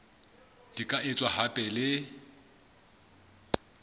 di ka etswa hape le